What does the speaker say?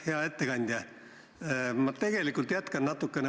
Hea ettekandja!